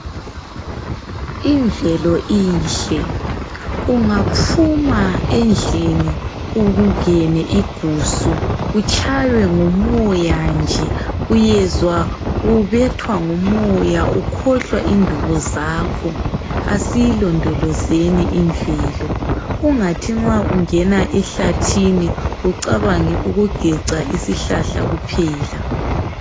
Imvelo inhle. Ungaphuma endlini ungene igusu utshaywe ngumoya nje, uyezwa ubethwa ngumoya ukhohlwa indubo zakho. Asiyilondolozeni imvelo ungathi ma ungena ehlathini, ucabange ukugeca isihlahla kuphela.